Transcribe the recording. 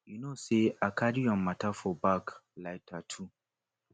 you know say i carry your matter for back like tattoo